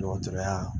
Dɔgɔtɔrɔya